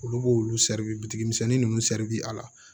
Olu b'olu misɛnnin ninnu a la